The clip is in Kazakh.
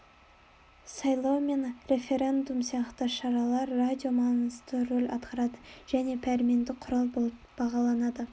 сайлау мен референдум сияқты шараларда радио маңызды рөл атқарады және пәрменді құрал болып бағаланады